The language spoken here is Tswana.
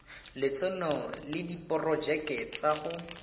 lotseno le diporojeke tsa go